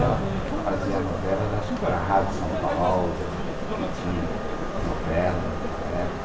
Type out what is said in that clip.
Ela fazia novelas, acho que para a Rádio São Paulo, que tinha novelas naquela época.